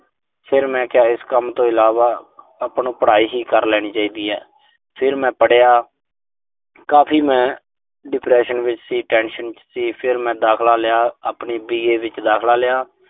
ਫਿਰ ਮੈਂ ਕਿਹਾ, ਇਸ ਕੰਮ ਤੋਂ ਇਲਾਵਾ ਆਪਾਂ ਨੂੰ ਪੜਾਈ ਹੀ ਕਰ ਲੈਣੀ ਚਾਹੀਦੀ ਐ। ਫਿਰ ਮੈਂ ਪੜਿਆ ਕਾਫੀ ਮੈਂ tension ਵਿੱਚ ਸੀ depression ਚ ਸੀ। ਫਿਰ ਮੈਂ ਦਾਖਲਾ ਲਿਆ। ਆਪਣੀ B. A. ਵਿੱਚ ਦਾਖਲਾ ਲਿਆ।